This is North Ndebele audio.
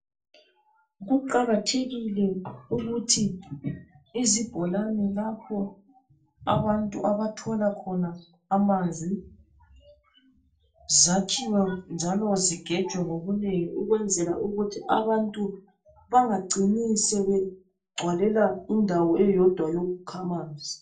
Kuqakathekile ukuthi izibholani lapho abantu abathola khona amanzi zakhiwe njalo zigejwe ngobunengi ukwenzela ukuthi abantu bangacini sebegcwalela indawo eyodwa yokukha manzi